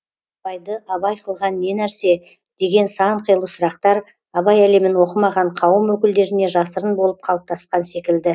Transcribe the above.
абайды абай қылған не нәрсе деген сан қилы сұрақтар абай әлемін оқымаған қауым өкілдеріне жасырын болып қалыптасқан секілді